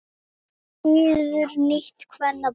Styður nýtt kvennaframboð